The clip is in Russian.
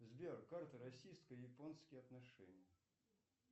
сбер карта российско японских отношений